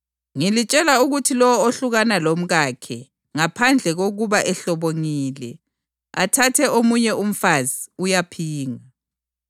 Ngilitshela ukuthi lowo ohlukana lomkakhe, ngaphandle kokuba ehlobongile, athathe omunye umfazi, uyaphinga.”